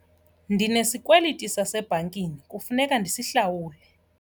Ndinesikweliti sasebhankini kufuneka ndisihlawule.